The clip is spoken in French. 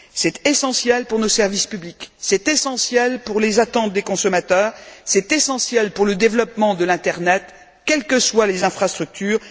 C'est essentiel pour nos services publics, c'est essentiel pour les attentes des consommateurs, c'est essentiel pour le développement de l'internet quelles que soient les infrastructures.